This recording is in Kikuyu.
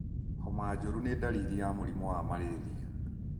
Homa njũru nĩ dalili ya mũrimũ wa malaria.